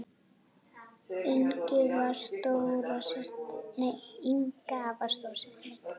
Inga var stóra systir mín.